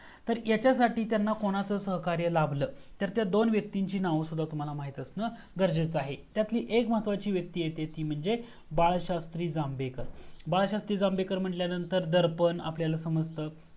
तर यांच्यासाठी त्यांना कोणाचा सहकार्य लाभलं? तर त्या दोन व्यक्तींची नाव सुद्धा तुम्हाला माहित असणं गरजेचं आहे. त्यातली एक महत्वाची व्यक्ती आहे, ती म्हणजे बाळशास्त्री जांभेकर. बाळशास्त्री जांभेकर म्हटल्यावर दर्पण आपल्याला समजतं